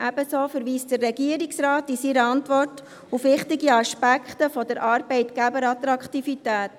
Ebenso verweist der Regierungsrat in seiner Antwort auf wichtige Aspekte der Arbeitgeberattraktivität: